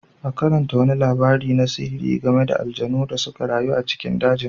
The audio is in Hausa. Ta karanta wani labari na sihiri game da aljanu da suka rayu a cikin dajin.